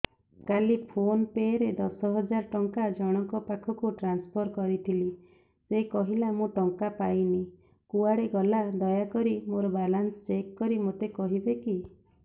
କାଲି PhonePe ରେ ଦଶ ହଜାର ଟଙ୍କା ଜଣକ ପାଖକୁ ଟ୍ରାନ୍ସଫର୍ କରିଥିଲି ସେ କହିଲା ମୁଁ ଟଙ୍କା ପାଇନି କୁଆଡେ ଗଲା ଦୟାକରି ମୋର ବାଲାନ୍ସ ଚେକ୍ କରି ମୋତେ କହିବେ କି